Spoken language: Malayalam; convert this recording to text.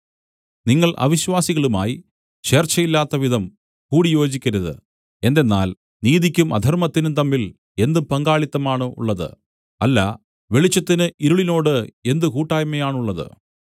നിങ്ങൾ അവിശ്വാസികളുമായി ചേർച്ചയില്ലാത്തവിധം കൂടിയോജിക്കരുത് എന്തെന്നാൽ നീതിക്കും അധർമ്മത്തിനും തമ്മിൽ എന്ത് പങ്കാളിത്തം ആണുള്ളത് അല്ല വെളിച്ചത്തിന് ഇരുളിനോട് എന്ത് കൂട്ടായ്മയാണുള്ളത്